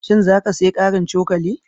Shin za ka sayi ƙarin cokali?